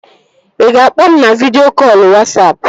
Ị ga-akpọ m na vidịo kọlụ Wasapụ?